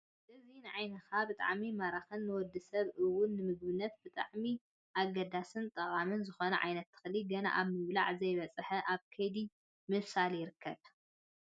እዚ ንዓንካ ብጣዕሚ ማራክን ንወዲ ሰብ እውን ንምግብነት ብጣዕሚ ኣገዳስን ጠቃምን ዝኾነ ዓይነት ተክሊ ገና ኣብ ምብላዕ ዘይበፅሐ ኣብ ከይዲ ምብሳል ይርከብ፡፡